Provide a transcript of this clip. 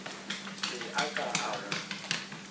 se a ka a go